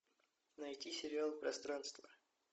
найти сериал пространство